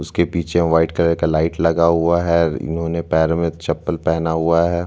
उसके पीछे white colour का लाइट लगा हुआ है इन्होंने पैरो में चप्पल पहना हुआ है।